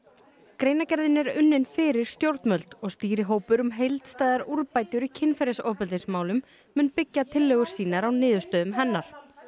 greinargerðin er unnin fyrir stjórnvöld og stýrihópur um heildstæðar úrbætur í kynferðisofbeldismálum mun byggja tillögur sínar á niðurstöðum hennar